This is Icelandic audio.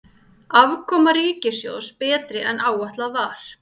Afkoma ríkissjóðs betri en áætlað var